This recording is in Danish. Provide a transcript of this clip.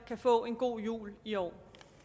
kan få en god jul i år